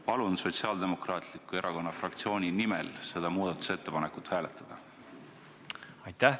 Palun Sotsiaaldemokraatliku Erakonna fraktsiooni nimel seda muudatusettepanekut hääletada!